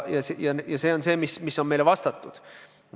Ja see on see, mida on meile vastatud.